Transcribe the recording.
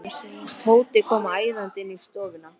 Tóti kom æðandi inn í stofuna.